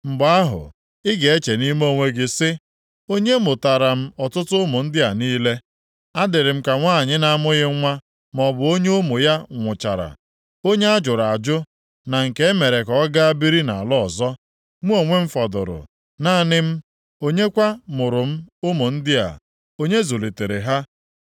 Mgbe ahụ, ị ga-eche nʼime onwe gị sị, ‘Onye mụtaara m ọtụtụ ụmụ ndị a niile? A dịrị m ka nwanyị na-amụghị nwa maọbụ onye ụmụ ya nwụchara. Onye ajụrụ ajụ na nke e mere ka ọ gaa biri nʼala ọzọ. Mụ onwe m fọdụrụ, naanị m. Onye kwa mụụrụ m ụmụ ndị a? Onye zụlitere ha?’ ”